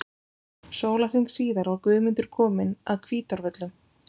Sólarhring síðar var Guðmundur kominn að Hvítárvöllum.